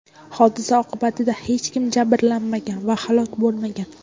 Hodisa oqibatida hech kim jabrlanmagan va halok bo‘lmagan.